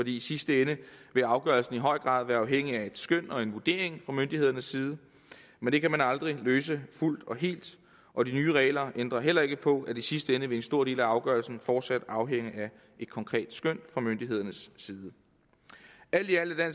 i sidste ende vil afgørelsen i høj grad være afhængig af et skøn og en vurdering fra myndighedernes side men det kan man aldrig løse fuldt og helt og de nye regler ændrer heller ikke på at i sidste ende vil en stor del af afgørelsen fortsat afhænge af et konkret skøn fra myndighedernes side alt i alt er